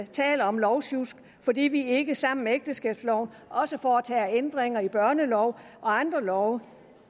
taler om lovsjusk fordi vi ikke sammen med ægteskabsloven også foretager ændringer i børneloven og andre love